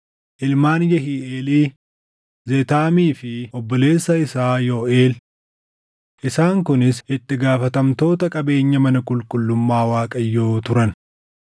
ilmaan Yehiiʼeelii, Zeetaamii fi obboleessa isaa Yooʼeel. Isaan kunis itti gaafatamtoota qabeenya mana qulqullummaa Waaqayyoo turan.